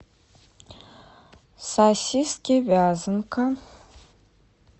сосиски вязанка